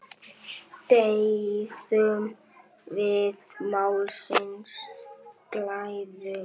Deyðum við málsins glæður?